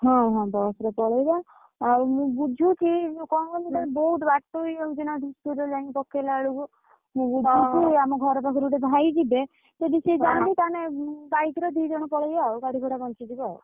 ହଁ ହଁ, bus ରେ ପଳେଇବା। ଆଉ ମୁଁ ବୁଝୁଛି ଯୋଉ କଣ କହିଲୁ ବହୁତ ବାଟ ହେଇଯାଉଛି ନା ଧୂସରି ରେ ଯାଇଁକି ପକେଇଲା ବେଳକୁ, ମୁଁ ବୁଝୁଛି ଆମ ଘର ପାଖରେ ଗୋଟେ ଭାଇ ଯିବେ। ଯଦି ସିଏ ଯାନ୍ତି ତାହେନେ bike ରେ ଦି ଜଣ ପଳେଇଆ ଆଉ ଗାଡି ଭଡା ବଞ୍ଚି ଯିବ ଆଉ।